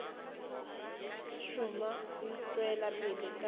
šoma o tšwela pele ka